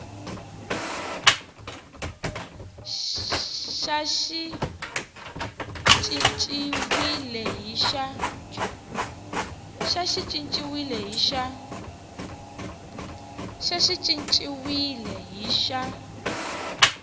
xa xi cinciwile hi xa